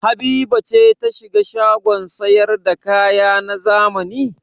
Habiba ce ta shiga shagon sayar da kaya na zamani?